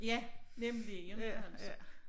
Ja nemlig inte altså